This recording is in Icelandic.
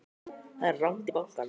Það er langt í bankann!